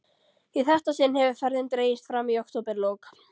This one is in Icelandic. Í þetta sinn hefur ferðin dregist fram í októberlok.